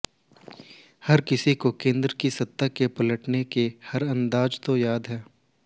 हर किसी को केन्द्र की सत्ता के पलटने के हर अंदाज तो याद है